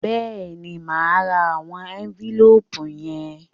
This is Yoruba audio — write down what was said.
Bẹ́ẹ̀ni, mo máa ra àwọn ẹ́ńfílóòpù yẹn